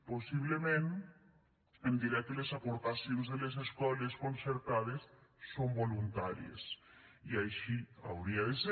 possiblement em dirà que les aportacions de les escoles concertades són voluntàries i així hauria de ser